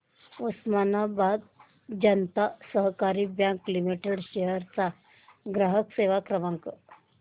उस्मानाबाद जनता सहकारी bank limited चा ग्राहक सेवा क्रमांक